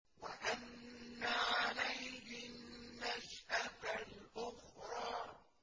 وَأَنَّ عَلَيْهِ النَّشْأَةَ الْأُخْرَىٰ